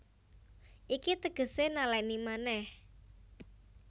Iki tegesé nalèni manèh